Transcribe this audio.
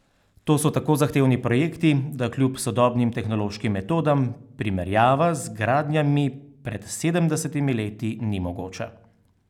To so tako zahtevni projekti, da kljub sodobnim tehnološkim metodam primerjava z gradnjami pred sedemdesetimi leti ni mogoča.